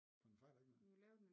For den fejler ikke noget